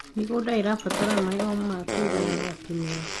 mĩgũnda irabatara maĩ ma kũigana o kĩmera